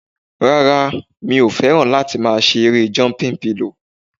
Rárá, mi ò fẹ́ràn láti máa ṣe erée jọmpin pilò